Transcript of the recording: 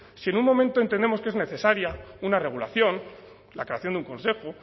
si en un momento entendemos que es necesaria una regulación la creación de un consejo